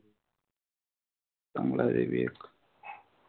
चांगलंय ते बी एक.